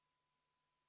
Paluks tähelepanu!